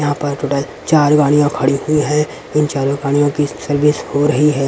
यहां पर टोटल चार गाड़ियां खड़ी हुई है इन चारो गाड़ियों की सर्विस हो रही है।